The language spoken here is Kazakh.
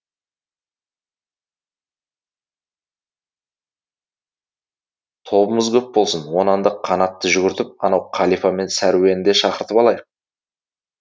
тобымыз көп болсын онан да қанатты жүгіртіп анау қалипа мен сәруені де шақыртып алайық